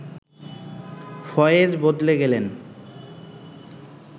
ফয়েজ বদলে গেলেন